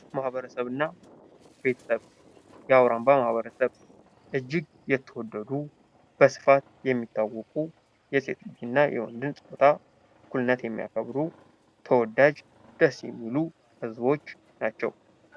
ማኅበረሰብ እና ቤተሰብ ። የአውራምባ ማኅበረሰብ እጅግ የተወደዱ በስፋት የሚታወቁ የሴትን እና የወንድን ፃታ እኩልነት የሚያከብሩ ተወዳጅ ደስ የሚሉ ህዝቦች ናቸው ።